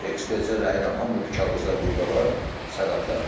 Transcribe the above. Ekspert rəyi ilə, hamı bu kağızlar burda var, sənədlər.